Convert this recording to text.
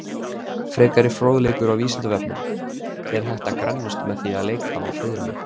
Frekari fróðleikur á Vísindavefnum: Er hægt að grennast með því að leika á fiðlu?